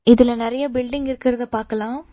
இதுல நெறைய பில்டிங் இருக்கறத பாக்கலா.